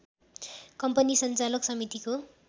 company सञ्चालक समितिको